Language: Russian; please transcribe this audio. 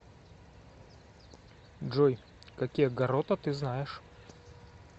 джой какие гаррота ты знаешь